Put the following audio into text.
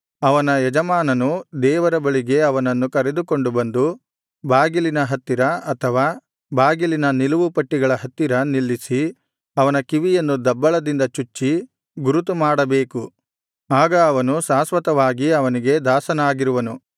ಅವನ ಯಜಮಾನನು ದೇವರ ಬಳಿಗೆ ಅವನನ್ನು ಕರೆದುಕೊಂಡು ಬಂದು ಬಾಗಿಲಿನ ಹತ್ತಿರ ಅಥವಾ ಬಾಗಿಲಿನ ನಿಲುವು ಪಟ್ಟಿಗಳ ಹತ್ತಿರ ನಿಲ್ಲಿಸಿ ಅವನ ಕಿವಿಯನ್ನು ದಬ್ಬಳದಿಂದ ಚುಚ್ಚಿ ಗುರುತು ಮಾಡಬೇಕು ಆಗ ಅವನು ಶಾಶ್ವತವಾಗಿ ಅವನಿಗೆ ದಾಸನಾಗಿರುವನು